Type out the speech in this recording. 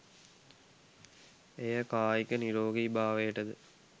එය කායික නිරෝගී භාවයට ද